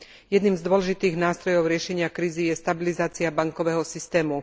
Jedným z dôležitých nástrojov riešenia krízy je stabilizácia bankového systému.